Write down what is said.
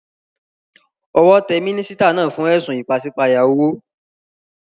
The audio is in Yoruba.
Owó te mínísítà náà fún édùn ìpasípayo owó